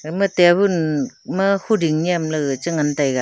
eya ma tabun ma huding nem ley gaga che ngan taiga.